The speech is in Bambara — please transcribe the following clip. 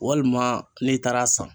Walima n'i taara san.